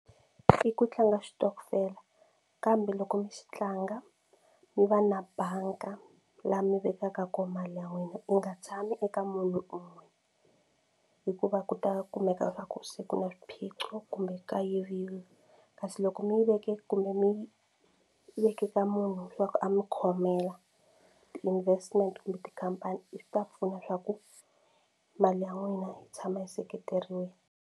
I ku tlanga xitokofela kambe loko mi xi tlanga mi va na banga laha mi vekaka kona mali ya n'wina yi nga tshami eka munhu un'we hikuva ku ta kumeka swa ku se ku na swiphiqo kumbe ka yiviwe kasi loko mi yi veke kumbe mi veke ka munhu leswaku a mi khomela ti-investment kumbe tikhampani i swi ta pfuna swa ku mali ya n'wina yi tshama yi seketerile.